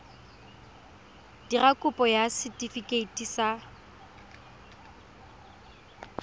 dira kopo ya setefikeiti sa